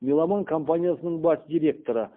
меломан компаниясының бас директоры